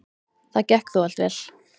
Það gekk þó allt vel.